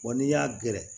Wa n'i y'a gɛrɛ